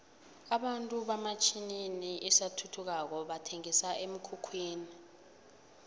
abantu hamatjninini asathuthukako bathenqisa emkhukhwini